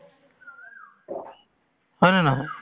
হয় নে নহয়